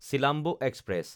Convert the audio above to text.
Silambu express